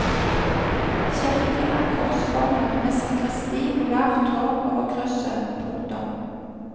Kirken er korsformet med sakristi og lavt tårn over krysset. punktum